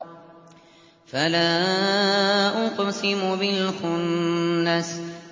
فَلَا أُقْسِمُ بِالْخُنَّسِ